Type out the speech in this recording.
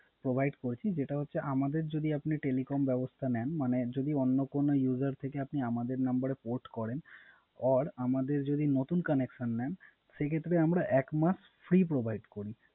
Provide করেছি যেটা হচ্ছে আমাদের যদি আপনি Telephone ব্যবস্থা নেন মানে যদি অন্য কোন User থেকে আপনি আমাদের নাম্বারে Code করেন Or আমাদের যদি নতুন কানেকশন নেন সেক্ষেত্রে আমরা এক মাস ফ্রি Provide করি।